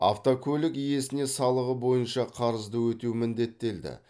автокөлік иесіне салығы бойынша қарызды өтеу міндеттелді